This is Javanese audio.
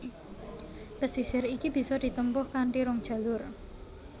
Pesisir iki bisa ditempuh kanthi rong jalur